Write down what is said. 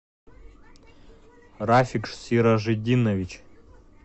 рафик сиражитдинович